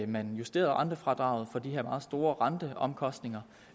man justerede rentefradraget på de her meget store renteomkostninger